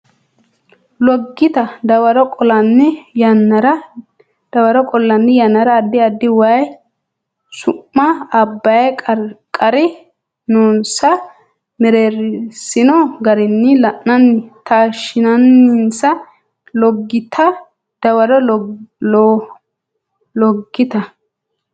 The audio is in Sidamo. Loggita Dawaro qollanni yannara addi addi Way su ma Abbay qarri noonsa mereersino garinni la anni taashshinsa Loggita Dawaro Loggita.